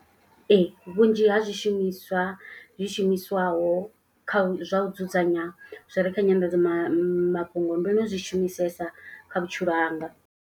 Ee vhunzhi ha zwishumiswa zwi shumiswaho kha zwa u dzudzanya. Zwi re kha nyanḓadzamafhungo mafhungo ndo no zwi shumisesa kha vhutshilo hanga.